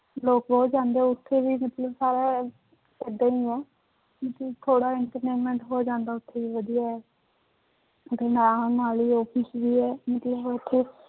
ਲੋਕ ਬਹੁਤ ਜਾਂਦੇ ਹੈ ਉੱਥੇ ਵੀ ਮਤਲਬ ਸਾਰਾ ਏਦਾਂ ਹੀ ਹੈ ਥੋੜ੍ਹਾ entertainment ਹੋ ਜਾਂਦਾ ਉੱਥੇ ਵੀ ਵਧੀਆ ਹੈ ਦੇ ਨਾਲ ਨਾਲ ਹੀ office ਵੀ ਹੈ ਮਤਲਬ ਉੱਥੇ